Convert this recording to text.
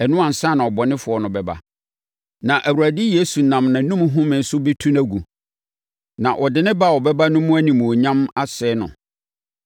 Ɛno ansa na ɔbɔnefoɔ no bɛba, na Awurade Yesu nam nʼanom home so bɛtu no agu, na ɔde ne ba a ɔbɛba no mu animuonyam asɛe no.